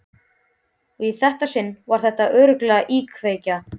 Og í þetta sinn var þetta örugglega íkveikja.